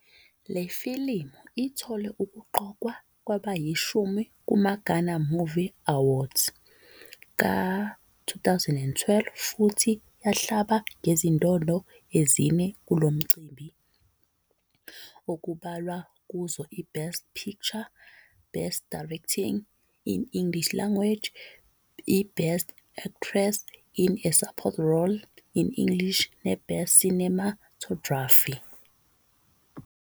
Le filimu ithole ukuqokwa kwabayishumi kumaGhana Movie Awards ka -2012 futhi yahlabana ngezindondo ezine kulo mcimbi, okubalwa kuzo iBest Picture, Best Directing, English Language, iBest Actress in a Support Role, English, neBest Cinematography.